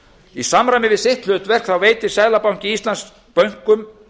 í samræmi við sitt hlutverk veitir seðlabanki íslands bönkum